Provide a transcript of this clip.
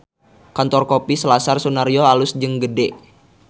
Kantor Kopi Selasar Sunaryo alus jeung gede